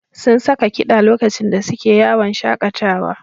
Sun saka kiɗa lokacin da suke yawon shaƙatawa.